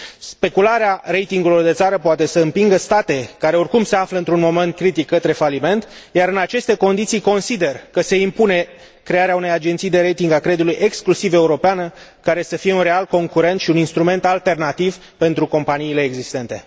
Specularea ratingului de țară poate să împingă state, care oricum se află într un moment critic, către faliment, iar în aceste condiții consider că se impune crearea unei agenții de rating a creditului exclusiv europeană, care să fie un real concurent și un instrument alternativ pentru companiile existente.